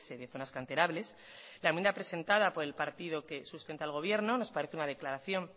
de zonas canterables la enmienda presentada por el partido que sustenta el gobierno nos parece una declaración